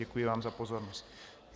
Děkuji vám za pozornost.